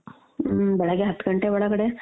ಹಮ್ ಬೆಳಗ್ಗೆ ಹತ್ತ್ ಗಂಟೆ ಒಳಗಡೆ